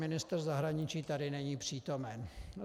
Ministr zahraničí tady není přítomen.